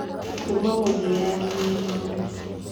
Kuuma mũthia nginya igũrũ.